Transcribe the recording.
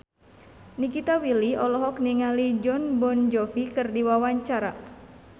Nikita Willy olohok ningali Jon Bon Jovi keur diwawancara